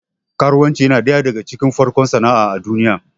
Karuwanci yana ɗaya daga cikin farkon sana'a a duniya